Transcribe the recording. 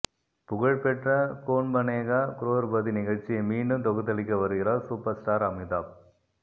புகழ் பெற்ற கோன் பனேகா குரோர்பதி நிகழ்ச்சியை மீண்டும் தொகுத்தளிக்க வருகிறார் சூப்பர் ஸ்டார் அமிதாப்